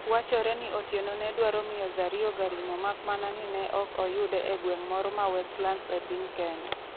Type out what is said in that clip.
wachore ni Otieno ne dwaro miyo Zario garino mak mana ni ne ok oyude egweng' moro ma Westlands epiny Kenya